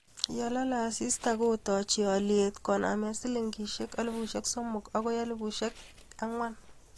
yalolei asista kootochi olye konaame sh3000 akoi sh,4000